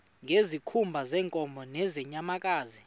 ngezikhumba zeenkomo nezeenyamakazi